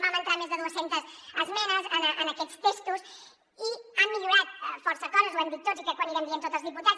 vam entrar més de dues centes esmenes en aquests textos i han millorat força coses ho hem dit tots i crec que ho anirem dient tots els diputats